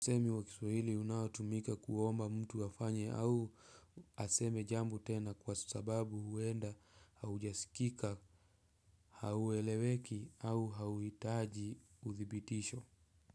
Usemi wa kiswahili unaotumika kuomba mtu afanye au aseme jambo tena kwa sababu huenda haujasikika, haueleweki au hauitaji udhibitisho.